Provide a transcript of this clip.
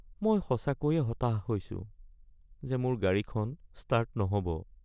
মই সঁচাকৈয়ে হতাশ হৈছো যে মোৰ গাড়ীখন ষ্টাৰ্ট নহ'ব (গ্ৰাহক)